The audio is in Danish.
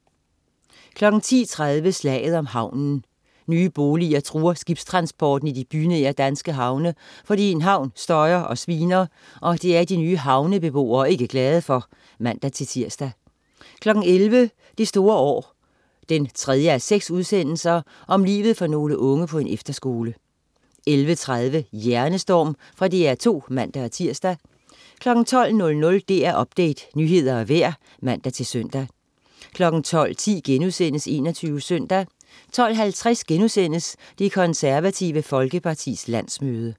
10.30 Slaget om havnen. Nye boliger truer skibstransporten i de bynære danske havne, fordi en havn støjer og sviner, og det er de nye havnebeboere ikke glade for (man-tirs) 11.00 Det store år 3:6. Om livet for nogle unge på en efterskole 11.30 Hjernestorm. Fra DR2 (man-tirs) 12.00 DR Update. Nyheder og vejr (man-søn) 12.10 21 Søndag* 12.50 Det Konservative Folkepartis landsmøde*